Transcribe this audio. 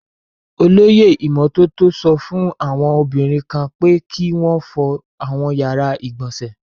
Olóyè ìmọ́tótó sọ fún àwọn obìnrin kan pé kí wọn fọ àwọn yàrá ìgbọ̀nsẹ̀.